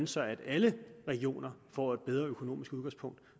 så alle regioner får et bedre økonomisk udgangspunkt